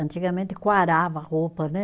Antigamente, quarava a roupa, né?